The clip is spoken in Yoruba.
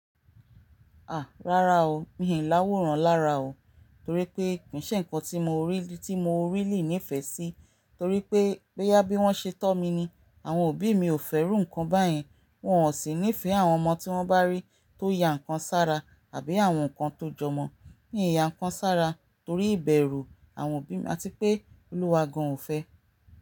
Àá, rárá o, mi ò láwòrán lára o, torí pé, kì ń ṣe ǹkan tí mo rí, tí mo rí lè nífẹ̀ẹ́ sí, torí pé, pé á bí wọ́n ṣe tọ́ mi ni, àwọn òbí mi ò fẹ́rù ǹkan báyẹn, wọ́n ò sì níìfẹ̀ẹ́ àwọn ọmọ tí wọ́n bá rí tó ya ǹkan sára àbí àwọn ǹkan tó jọmọ. Mìyà ǹkan sára torí ìbẹ̀rù àwọn òbí mi, àti pé Olúwa gan ò fẹ́.